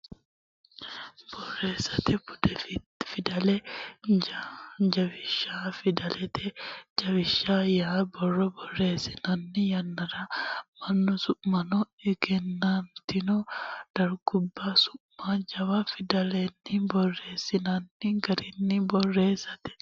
Borreessate Bude Fidalete Jawishsha Fidalete jawisha yaa borro borreessinanni yannara mannu su manna egennantino dargubba su ma jawa fidalenni borreessinanni garaati Borreessate.